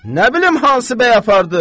Nə bilim hansı bəy apardı?